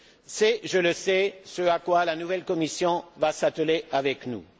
C'est, je le sais, ce à quoi la nouvelle Commission va s'atteler avec nous.